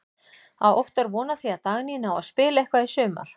Á Óttar von á því að Dagný nái að spila eitthvað í sumar?